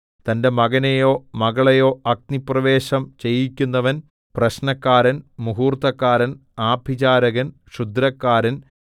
തന്റെ മകനെയോ മകളെയോ അഗ്നിപ്രവേശം ചെയ്യിക്കുന്നവൻ പ്രശ്നക്കാരൻ മുഹൂർത്തക്കാരൻ ആഭിചാരകൻ ക്ഷുദ്രക്കാരൻ